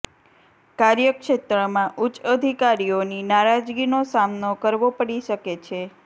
કાર્ય ક્ષેત્રમાં ઉચ્ચ અધિકારીઓની નારાજગીનો સામનો કરવો પડી શકે છે